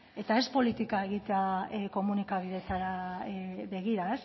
eta ez politika egitea komunikabideetara begira